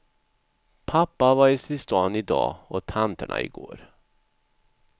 Pappa har varit i stan i dag och tanterna i går.